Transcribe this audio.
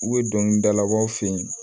U bɛ dɔnkili dalabaw fen yen